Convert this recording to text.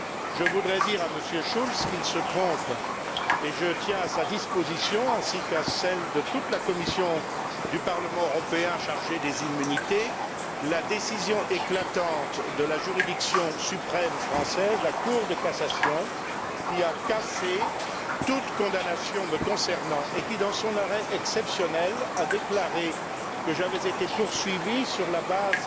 Je voudrais dire à M. Schulz qu'il se trompe et je tiens à sa disposition, ainsi qu'à celle de toute la commission du Parlement européen chargée des immunités, la décision éclatante de la juridiction suprême française, la Cour de cassation, qui a cassé toutes condamnations me concernant et qui, dans son arrêt exceptionnel, a déclaré que j'avais été poursuivi sur la base